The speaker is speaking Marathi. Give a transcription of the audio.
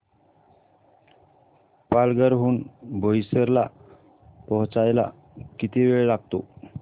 पालघर हून बोईसर ला पोहचायला किती वेळ लागतो